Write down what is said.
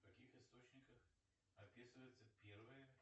в каких источниках описывается первая